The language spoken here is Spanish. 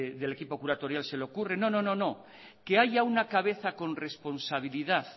del equipo curatorial se lo curre no que haya una cabeza con responsabilidad